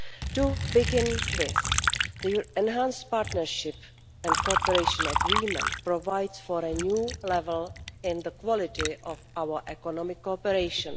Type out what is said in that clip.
To begin with, the Enhanced Partnership and Cooperation Agreement provides for a new level in the quality of our economic cooperation.